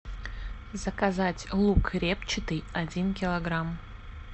заказать лук репчатый один килограмм